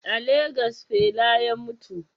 A Legas fela ya mutu